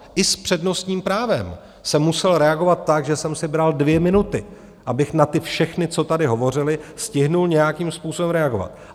I s přednostním právem jsem musel reagovat tak, že jsem si bral dvě minuty, abych na ty všechny, co tady hovořili, stihl nějakým způsobem reagovat.